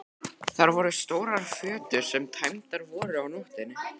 Þar voru stórar fötur sem tæmdar voru á nóttinni.